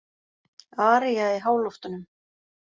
Aría í háloftunum